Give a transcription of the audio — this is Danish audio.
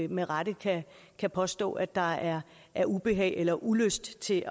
med rette kan påstå at der er er ubehag ved eller ulyst til